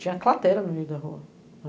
Tinha cratera no meio da rua.